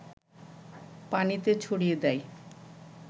পানিতে ছড়িয়ে দেয়